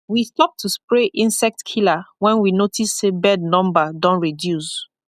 we stop to spray insect killer when we notice say bird number don reduce